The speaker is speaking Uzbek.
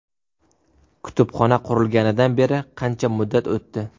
Kutubxona qurilganidan beri qancha muddat o‘tdi?